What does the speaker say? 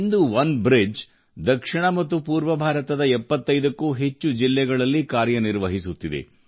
ಇಂದು OneBridge ದಕ್ಷಿಣ ಮತ್ತು ಪೂರ್ವ ಭಾರತದ 75 ಕ್ಕೂ ಹೆಚ್ಚು ಜಿಲ್ಲೆಗಳಲ್ಲಿ ಕಾರ್ಯನಿರ್ವಹಿಸುತ್ತಿದೆ